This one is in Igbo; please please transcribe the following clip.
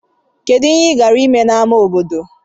Kedu ihe ị gara ime n'ámá obodo?